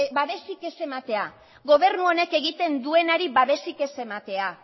babesik ez ematea gobernu honek egiten duenari babesik ez ematea